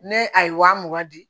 Ne a ye waa mugan di